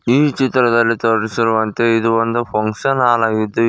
ಈ ಚಿತ್ರದಲ್ಲಿ ತೋರಿಸಿರುವಂತೆ ಇದು ಒಂದು ಫಂಕ್ಷನ್ ಆಲ್ ಆಗಿದ್ದು.